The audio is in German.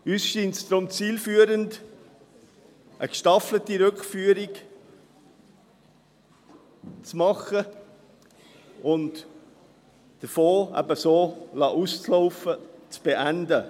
Uns scheint es deshalb zielführend, eine gestaffelte Rückführung zu machen und den Fonds so auslaufen zu lassen, zu beenden.